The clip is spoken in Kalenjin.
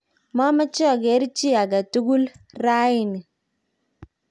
mameche ageer chi age tugul rauni